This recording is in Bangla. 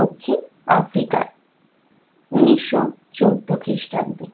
দক্ষিণ africa য় উনিশশো চোদ্দ খ্রিস্টাব্দে